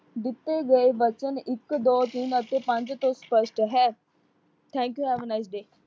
ਦਿੱਤੇ ਗਏ ਬਚਨ ਇਕ, ਦੋ, ਤਿੰਨ ਅਤੇ ਪੰਜ ਤੋਂ ਸਪੱਸ਼ਟ ਹੈ। thank you have a nice day